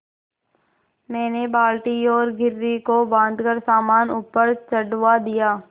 मैंने बाल्टी और घिर्री को बाँधकर सामान ऊपर चढ़वा दिया